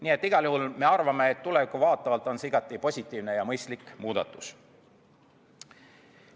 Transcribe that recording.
Nii et igal juhul me arvame, et tulevikku vaatavalt on see igati positiivne ja mõistlik muudatus.